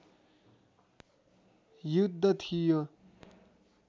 युद्ध थियो